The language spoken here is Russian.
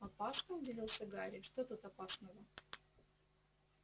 опасно удивился гарри что тут опасного